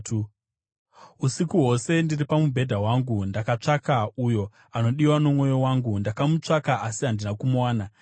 Usiku hwose ndiri pamubhedha wangu ndakatsvaka uyo anodiwa nomwoyo wangu; ndakamutsvaka asi handina kumuwana.